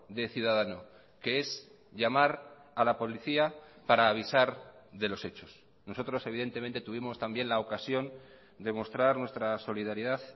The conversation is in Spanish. de ciudadano que es llamar a la policía para avisar de los hechos nosotros evidentemente tuvimos también la ocasión de mostrar nuestra solidaridad